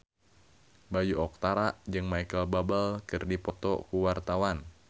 Bayu Octara jeung Micheal Bubble keur dipoto ku wartawan